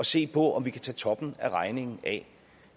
se på om vi kan tage toppen af regningen af